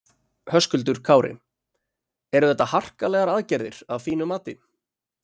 Höskuldur Kári: Eru þetta harkalegar aðgerðir að þínu mati?